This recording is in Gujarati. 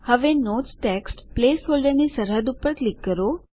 હવે નોટ્સ ટેક્સ્ટ પ્લેસ હોલ્ડરની સરહદ પર ક્લિક કરો